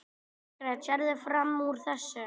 Margrét: Sérðu fram úr þessu?